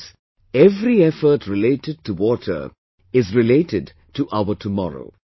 Friends, every effort related to water is related to our tomorrow